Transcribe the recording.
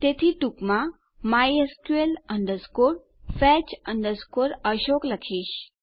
તેથી હું ટૂંકમાં mysqul fetch assoc લખીશ